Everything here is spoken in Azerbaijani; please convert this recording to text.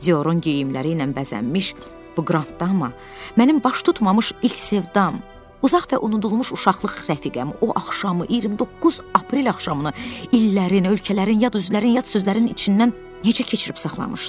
Diorun geyimləri ilə bəzənmiş bu qrand dama, mənim baş tutmamış ilk sevdam, uzaq və unudulmuş uşaqlıq rəfiqəm o axşamı, 29 aprel axşamını illərin, ölkələrin, yad üzlərin, yad sözlərin içindən necə keçirib saxlamışdı?